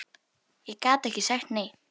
Ég gat ekki sagt nei.